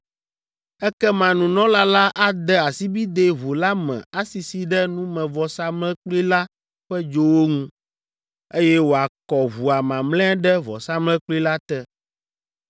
Ekema nunɔla la ade asibidɛ ʋu la me asisi ɖe numevɔsamlekpui la ƒe dzowo ŋu, eye wòakɔ ʋua mamlɛa ɖe vɔsamlekpui la te.